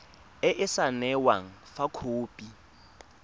e e saenweng fa khopi